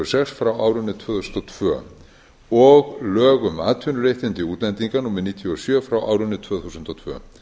sex frá árinu tvö þúsund og tvö og lög um atvinnuréttindi útlendinga númer níutíu og sjö frá árinu tvö þúsund og tvö